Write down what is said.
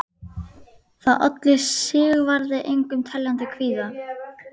Hann leyfir henni að ráðskast með sig.